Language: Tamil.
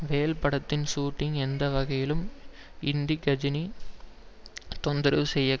வேல் படத்தின் ஷுட்டிங் எந்த வகையிலும் இந்தி கஜினி தொந்தரவு செய்ய